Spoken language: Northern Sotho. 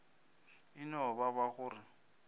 e no ba go re